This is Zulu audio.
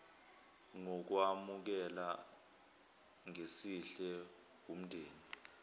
ngokwamukela ngesihle wumndeni